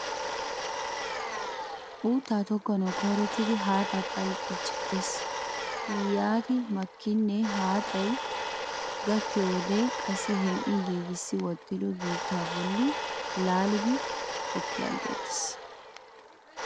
Uuttaa tokkanawu koyrottidi haaxaa phalqqiichettees. Yaani makkidinne he haaxay gakkiyo wode qassi hem'i giigissi wottido biittaa bolli laalidi tokki aggeettes.